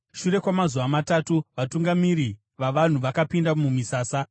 Shure kwamazuva matatu vatungamiri vavanhu vakapinda mumisasa,